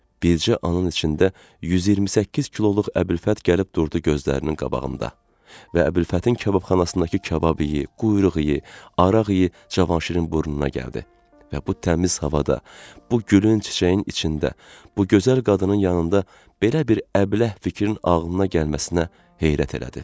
Bircə anın içində 128 kiloluq Əbülfət gəlib durdu gözlərinin qabağında və Əbülfətin kababxanasındakı kabab yeyə, quyruğu yeyə, araq yeyə Cavanşirin burnuna gəldi və bu təmiz havada, bu gülü çiçəyin içində, bu gözəl qadının yanında belə bir əbləh fikrin ağlına gəlməsinə heyrət elədi.